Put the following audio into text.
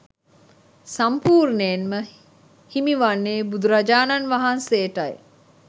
සම්පූර්ණයෙන්ම හිමි වන්නේ බුදුරජාණන් වහන්සේටයි